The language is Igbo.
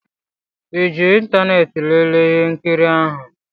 ịji ịntanetị lelee ihe nkiri ahụ?